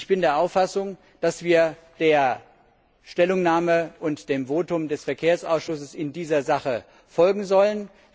Ich bin der Auffassung, dass wir der Stellungnahme und dem Votum des Verkehrsausschusses in dieser Sache folgen sollten.